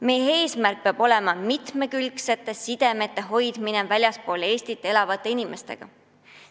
Meie eesmärk peab olema mitmekülgsete sidemete hoidmine väljaspool Eestit elavate kaasmaalastega.